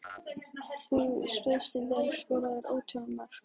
Þú stóðst þig vel, skoraðir ótal mörk.